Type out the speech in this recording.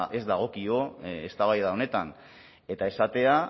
ez dagokio eztabaida honetan eta esatea